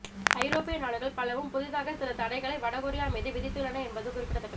ஐரோப்பிய நாடுகள் பலவும் புதிதாக சில தடைகளை வட கொரியா மீது விதித்துள்ளன என்பது குறிப்பிடத்தக்கது